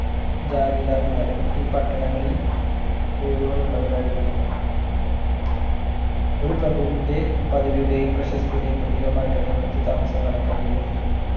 ജാഗിതാർമാരും വീടുകൾ ഉള്ളവരായിരുന്നു ഒരു പ്രഭുവിൻ്റെ പദവിയുടെയും പ്രശസ്തിയുടെയും പ്രതീകമായിട്ടാണ് ഇവിടത്തെ താമസം കണക്കാക്കി പോന്നത്